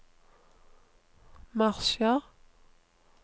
marsjer